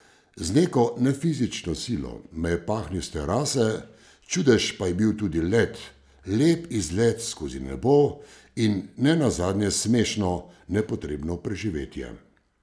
Z neko nefizično silo me je pahnil s terase, čudež pa je bil tudi let, lep izlet skozi nebo, in ne nazadnje smešno, nepotrebno preživetje.